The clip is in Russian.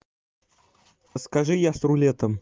скажи я с рулетом